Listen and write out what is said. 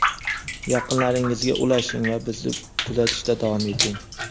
Yaqinlaringizga ulashing va bizni kuzatishda davom eting.